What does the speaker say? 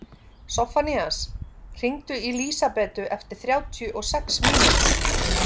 Soffanías, hringdu í Lísabetu eftir þrjátíu og sex mínútur.